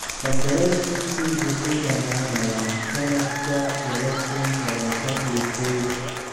Qandaraaskiisu wuxuu dhamaanayaa sanadka laba kuun labatan iyo koow.